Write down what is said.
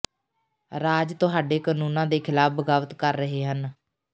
ਰਾਜ ਤੁਹਾਡੇ ਕਾਨੂੰਨਾਂ ਦੇ ਖਿਲਾਫ਼ ਬਗਾਵਤ ਕਰ ਰਹੇ ਹਨ